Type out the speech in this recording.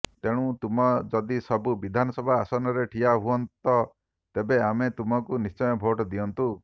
ତେଣୁ ତୁମ ଯଦି ସବୁ ବିଧାନସଭା ଆସନରେ ଠିଆ ହୁଅନ୍ତ ତେବେ ଆମେ ତୁମକୁ ନିଶ୍ଚୟ ଭୋଟ ଦିଅନ୍ତୁ